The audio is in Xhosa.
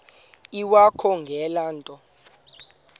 iwakho ngale nto